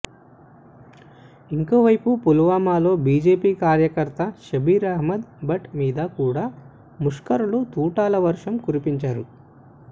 ఇంకో వైపు పుల్వామాలో బీజేపీ కార్యకర్త షబీర్ అహ్మద్ భట్ మీద కూడా ముష్కరులు తూటాల వర్షం కురిపించారు